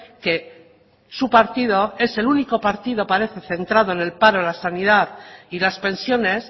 que su partido es el único partido parece centrado en el paro la sanidad y las pensiones